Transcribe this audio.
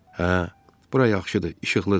Hə, bura yaxşıdır, işıqlıdır.